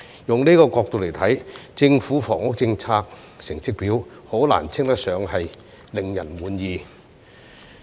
以這個角度來看，政府房屋政策成績表難以稱得上令人滿意。